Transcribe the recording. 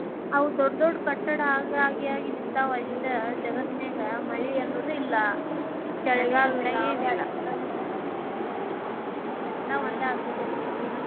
ಆವ ದೊಡ್ಡ್ ದೊಡ್ಡ್ ಕಟ್ಟಡ ಆಗಿ ಆಗಿ ಆಗಿ ನಿಂತಾವ ಅಷ್ಟ್ ಜಗತ್ತಿನ್ಯಾಗ ಮಳಿ ಅನ್ನುದಿಲ್ಲಾ. ಎಲ್ಲಾ ಒಂದ್ ಆಗಿಬಿಟ್ಟೆತಿ ಜೀವ್ನಕ್